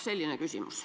Selline küsimus.